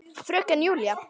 Fröken Júlíu.